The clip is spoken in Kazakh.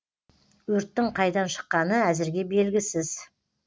өрттің қайдан шыққаны әзірге белгісіз